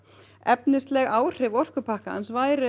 efnisleg áhrif orkupakkans væru